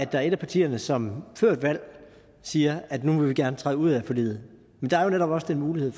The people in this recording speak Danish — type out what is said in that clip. der er et af partierne som før et valg siger at nu vil vi gerne træde ud af forliget der er jo netop også den mulighed